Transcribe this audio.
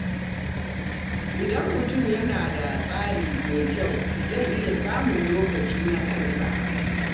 Idan mutum yana da tsari mai kyau, zai iya samun lokaci na kansa.